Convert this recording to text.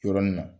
Yɔrɔnin na